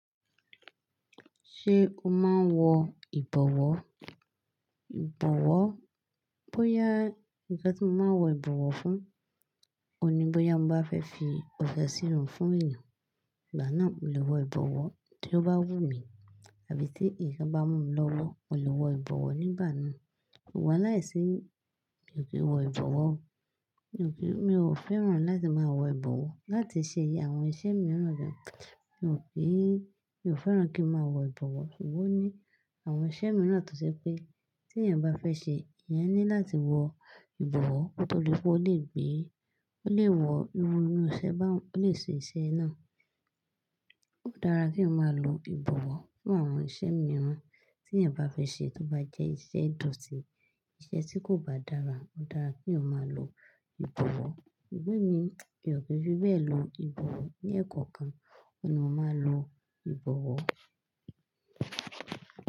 Ṣé o máa ń wọ ìbọ̀wọ́? Ìbọ̀wọ́, bóyá ǹkan tí mo máa n wọ ìbọ̀wọ́ fún, òní bóyá mo bá fẹ́ fi ọ̀fẹ̀ sírun fún èyàn, ìgbà náà mo lè wọ ìbọ̀wọ́. Tí ó bá wù mí àbí tí ǹkan bá mú mi lọ́wọ́, mo lè wọ ìbọ̀wọ́ nígbà náà. Ṣùgbọ́n láìsí, mi ò kí ń wọ ìbọ̀wọ́ o. Mi ò fẹ́ràn láti máa wọ ìbọ̀wọ́. Láti ṣe àwọn iṣẹ́ mìíràn jẹ, mi ò kí, mi ò fẹ́ràn kí n máa wọ ìbọ̀wọ́. Ṣùgbọ́n o ní àwọn iṣẹ́ mìíràn tó je pé tí èèyàn bá fẹ́ ṣe, ìyan ní láti wọ ìbọ̀wọ́ kóto di pe ọ lé gbé. Ó lè wọ iruuru iṣẹ́ báun, ó lè ṣe iṣẹ́ naá. Ó dára kèèyàn ma lo ìbọ̀wọ́ fún àwọn iṣẹ́ mìíràn tí èèyàn bá fẹ́ ṣe tó bá jẹ́ iṣẹ́ ìdọ̀tí, iṣẹ́ tí kò bá dára, ó dára kí eeyan máa lo ìbọ̀wọ́. Ṣùgbọ́n emi, mi ò kí n fi bẹ́ẹ̀ lo ìbọ̀wọ́. Ni ẹ̀kọ́okan, ọ̀un ni mo máa ń lo ìbọ̀wọ́.